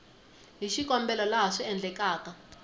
hi xikombelo laha swi endlekaka